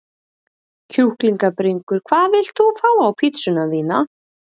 Kjúklingabringur Hvað vilt þú fá á pizzuna þína?